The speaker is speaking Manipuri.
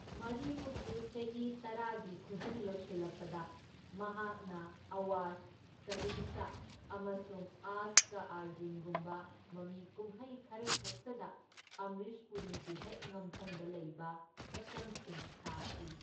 ꯃꯔꯤꯐꯨꯒꯤ ꯆꯍꯤ ꯇꯔꯥꯒꯤ ꯈꯨꯖꯤꯡ ꯂꯣꯢꯁꯤꯜꯂꯛꯄꯗ, ꯃꯍꯥꯛꯅ ꯑꯋꯥꯖ, ꯁꯍꯤꯟꯁꯥ ꯑꯃꯁꯨꯡ ꯑꯥꯖ ꯀꯥ ꯑꯔꯖꯨꯟꯒꯨꯝꯕ ꯃꯃꯤꯀꯨꯝꯍꯩ ꯈꯔꯈꯛꯇꯗ ꯑꯝꯔꯤꯁ ꯄꯨꯔꯤꯒꯤ ꯍꯦꯛ ꯉꯝꯊꯪꯗ ꯂꯩꯕ ꯁꯛꯇꯝꯁꯤꯡ ꯁꯥꯈꯤ꯫